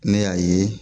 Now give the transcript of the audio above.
Ne y'a ye